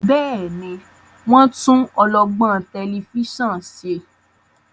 Béèni wón tún olọgbọn Tẹlifíṣàn ṣe?